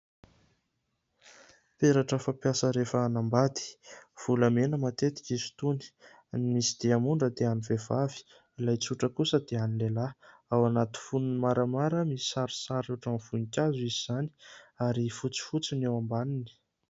Peratra fampiasa rehefa hanambady, volamena matetika izy itony ; ny misy diamondra dia an'ny vehivavy, ilay tsotra kosa dia an'ny lehilahy ; ao anaty fonony maramara misy sarisary ohatra ny voninkazo izy izany ary fotsifotsy ny eo ambaniny.